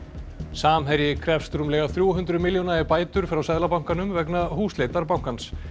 samherji krefst rúmlega þrjú hundruð milljóna í bætur frá Seðlabankanum vegna húsleitar bankans